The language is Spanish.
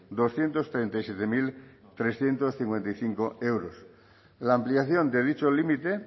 millónes doscientos treinta y siete mil trescientos cincuenta y cinco la aplicación de dicho límite